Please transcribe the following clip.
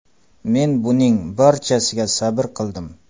Men buning barchasiga sabr qildim.